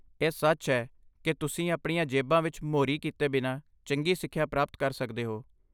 ਇਹ ਸੱਚ ਹੈ ਕਿ ਤੁਸੀਂ ਆਪਣੀਆਂ ਜੇਬਾਂ ਵਿੱਚ ਮੋਰੀ ਕੀਤੇ ਬਿਨਾਂ ਚੰਗੀ ਸਿੱਖਿਆ ਪ੍ਰਾਪਤ ਕਰਦੇ ਹੋ।